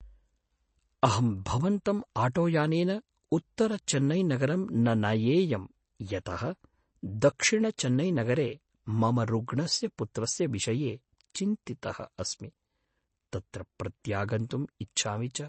अहं भवन्तम् आटोयानेन उत्तरचेन्नैनगरं न नयेयं यतः दक्षिणचेन्नैनगरे मम रुग्णस्य पुत्रस्य विषये चिन्तितः अस्मि, तत्र प्रत्यागन्तुम् इच्छामि च।